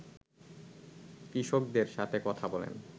কৃষকদের সাথে কথা বলেন